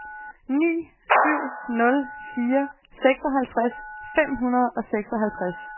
ni syv nul fire seksoghalvtreds fem hundrede og seksoghalvtreds